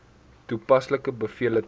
toepaslike bevele ten